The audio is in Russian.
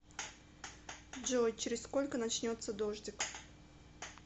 джой через сколько начнется дождик